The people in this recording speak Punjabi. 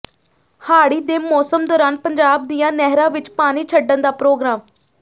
ਹਾੜੀ ਦੇ ਮੌਸਮ ਦੌਰਾਨ ਪੰਜਾਬ ਦੀਆਂ ਨਹਿਰਾਂ ਵਿੱਚ ਪਾਣੀ ਛੱਡਣ ਦਾ ਪ੍ਰੋਗਰਾਮ